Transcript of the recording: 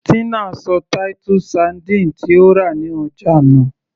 Tina ṣọ titus sardines tí ó rà ní ọjà nù